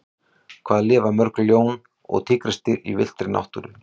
Hvað lifa mörg ljón og tígrisdýr í villtri náttúru?